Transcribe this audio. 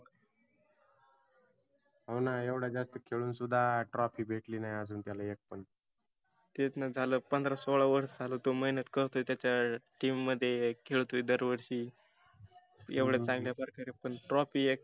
हावना एवढा जास्त खेळून सुद्धा trophy भेटली नाही आजुन त्याला एक पण. तेचना झाल पंधरा सोळा वर्ष झालं तो मेहनत करतो त्याच्या team मध्ये खेळतोय दर वर्षी. एवढ्या चांगल्या प्रकारे पण trophy एक